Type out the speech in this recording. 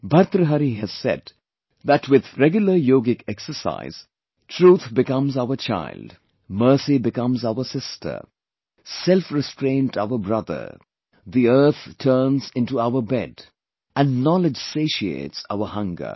Bhartahari has said that with regular yogic exercise, truth becomes our child, mercy becomes our sister, self restraint our brother, earth turns in to our bed and knowledge satiates our hunger